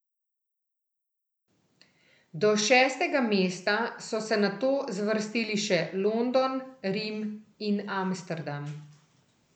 Do šestega mesta so se nato zvrstili še London, Rim in Amsterdam.